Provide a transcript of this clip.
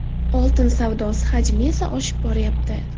Oltin savdosi hajmi esa oshib boryapti.